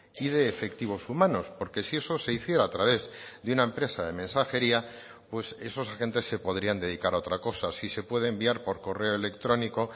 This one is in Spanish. y de efectivos humanos porque si eso se hiciera a través de una empresa de mensajería pues esos agentes se podrían dedicar a otra cosa si se puede enviar por correo electrónico